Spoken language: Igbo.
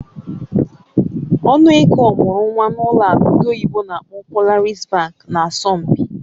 Ọnụ ego ọmụrụ nwa n'ụlọ akụ ndị oyibo n'akpọ "Polaris Bank" nà asọmpi.